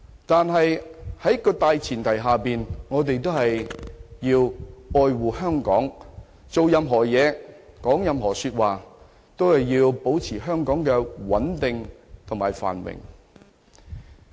但是，大前提是我們要愛護香港，做任何事、說任何話，都要保持香港的穩定與繁榮。